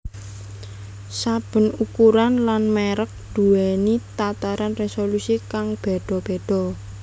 Saben ukuran lan mèrek duwèni tataran résolusi kang béda béda